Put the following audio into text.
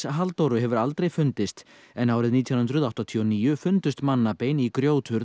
Halldóru hefur aldrei fundist en árið nítján hundruð áttatíu og níu fundust mannabein í